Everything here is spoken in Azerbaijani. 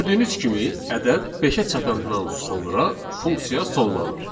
Gördüyünüz kimi, ədəd beşə çatandan sonra funksiya sonlanır.